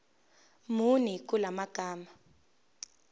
muni kula magama